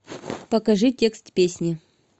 покажи текст песни